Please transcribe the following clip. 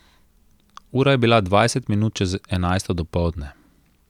Ura je bila dvajset minut čez enajsto dopoldne.